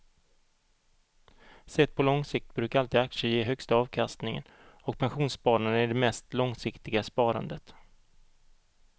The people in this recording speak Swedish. Sett på lång sikt brukar alltid aktier ge högsta avkastningen och pensionssparande är det mest långsiktiga sparandet.